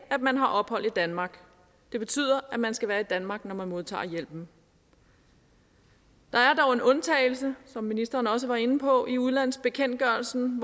man har ophold i danmark det betyder at man skal være i danmark når man modtager hjælpen der er dog en undtagelse som ministeren også var inde på i udlandsbekendtgørelsen